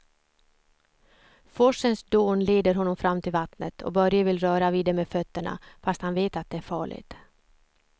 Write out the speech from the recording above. Forsens dån leder honom fram till vattnet och Börje vill röra vid det med fötterna, fast han vet att det är farligt.